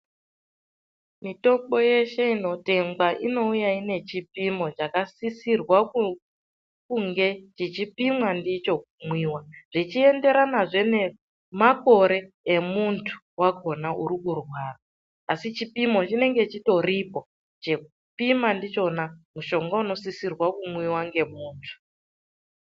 Mitombo yeshe inotengwa inouya ine chipimo chakasisirwa kunge chechipimimwa ndicho kumwiwa. Zvichienderana zve ngemakore emunthu wakhona urikurwara, asi chipimo chinenge chitorimwo chekupima ndichona mutombo unosisirwa kumwiwa ngemunthu.